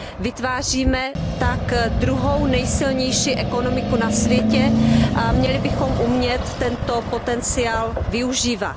Vytváříme tak druhou nejsilnější ekonomiku na světě a měli bychom umět tento potenciál využívat.